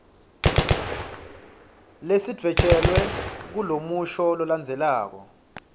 lesidvwetjelwe kulomusho lolandzelako